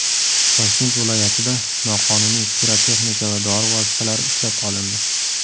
Toshkent viloyatida noqonuniy pirotexnika va dori vositalari ushlab qolindi.